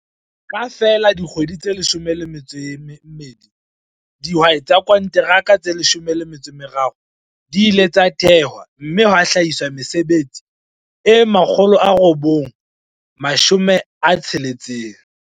Ka feela dikgwedi tse 12, dihwai tsa konteraka tse 13 di ile tsa thehwa mme ha hlahiswa mesebetsi e 960.